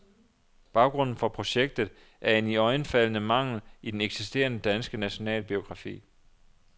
Baggrunden for projektet er en iøjnefaldende mangel i den eksisterende, danske nationalbiografi.